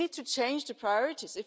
We need to change our priorities.